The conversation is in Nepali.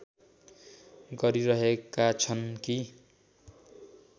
गरिरहेका छन् कि